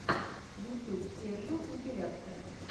ютьюб сержио компиляция